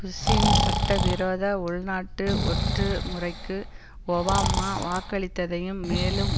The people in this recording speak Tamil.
புஷ்ஷின் சட்டவிரோத உள்நாட்டு ஒற்று முறைக்கு ஒபாமா வாக்களித்ததையும் மேலும்